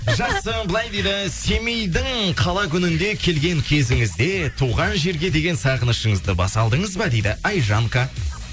жақсы былай дейді семейдің қала күнінде келген кезіңізде туған жерге деген сағынышыңызды баса алдыңыз ба дейді айжанка